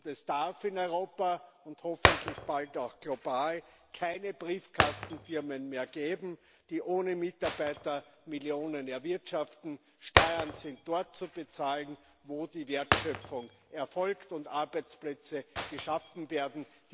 Und es darf in Europa und hoffentlich bald auch global keine Briefkastenfirmen mehr geben, die ohne Mitarbeiter Millionen erwirtschaften. Steuern sind dort zu bezahlen, wo die Wertschöpfung erfolgt und Arbeitsplätze geschaffen werden.